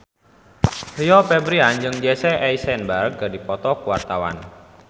Rio Febrian jeung Jesse Eisenberg keur dipoto ku wartawan